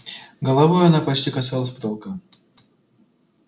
головой она почти касалась потолка